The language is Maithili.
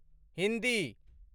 हिन्दी